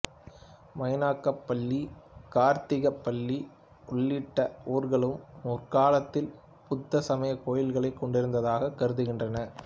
மைனாகப்பள்ளி கார்த்திகப்பள்ளி உள்ளிட்ட ஊர்களும் முற்காலத்தில் புத்த சமய கோயில்களைக் கொண்டிருந்ததாகக் கருதுகின்றனர்